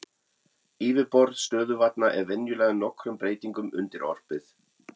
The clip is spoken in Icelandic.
Yfirborð stöðuvatna er venjulega nokkrum breytingum undirorpið.